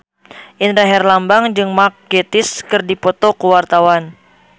Indra Herlambang jeung Mark Gatiss keur dipoto ku wartawan